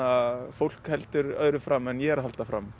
fólk heldur öðru fram en ég er að halda fram